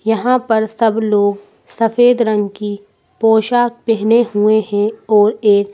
यहां पर सब लोग सफेद रंग की पोशाक पहने हुए हैं और एक--